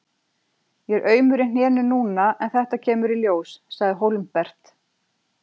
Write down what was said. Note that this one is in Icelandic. Ég er aumur í hnénu núna en þetta kemur í ljós, sagði Hólmbert.